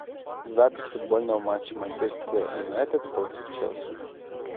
запись футбольного матча манчестер юнайтед против челси